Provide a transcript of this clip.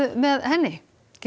með henni